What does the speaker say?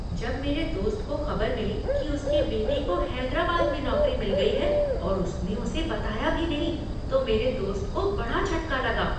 जब मेरे दोस्त को खबर मिली की उसकी बेटी को हैदराबाद में नौकरी मिल गई है और उसने उसे बताया भी नहीं तो मेरे दोस्त को बड़ा झटका लगा।